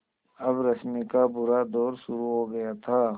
अब रश्मि का बुरा दौर शुरू हो गया था